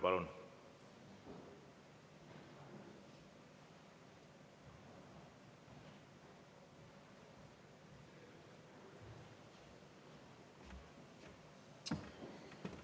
Palun!